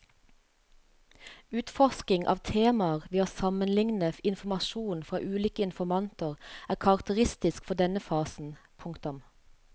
Utforsking av temaer ved å sammenligne informasjon fra ulike informanter er karakteristisk for denne fasen. punktum